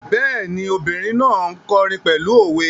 Bẹ́ẹ̀ni, obìrin náà n kọrin pẹ̀lú òwe